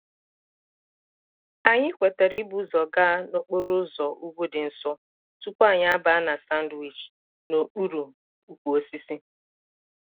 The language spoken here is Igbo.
anyị kwetara ibu ụzọ gaa n'okporo ụzọ ugwu dị nso tupu anyị abaa na sandwich n'okpuru ukwu osisi